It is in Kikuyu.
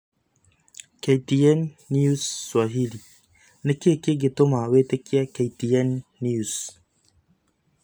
KTN News Swahili: Niki kingituma witikie KTN News